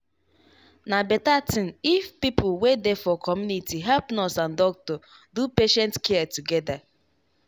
na better thing if people wey dey for community help nurse and doctor do patient care together.